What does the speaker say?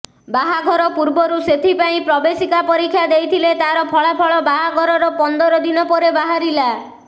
ବାହାଘର ପୂର୍ବରୁ ସେଥିପାଇଁ ପ୍ରବେଶିକା ପରୀକ୍ଷା ଦେଇଥିଲେ ତାର ଫଳାଫଳ ବାହାଘରର ପନ୍ଦରଦିନ ପରେ ବାହାରିଲା